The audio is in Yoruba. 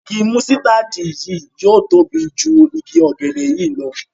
ìgi músítádì yí yóò tóbi jù ìgi ògèdè yí ló.